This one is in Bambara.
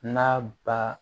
N'a ba